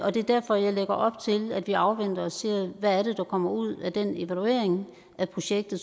og det er derfor at jeg lægger op til at vi afventer og ser hvad der kommer ud af den evaluering af projektet